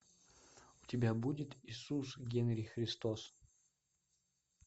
у тебя будет иисус генри христос